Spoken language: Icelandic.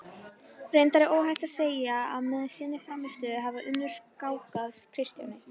Reyndar er óhætt að segja að með sinni frammistöðu hafi Unnur skákað Kristjáni.